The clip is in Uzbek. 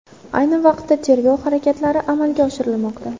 Ayni vaqtda tergov harakatlari amalga oshirilmoqda.